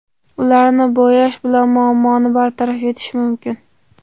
Ularni bo‘yash bilan muammoni bartaraf etish mumkin.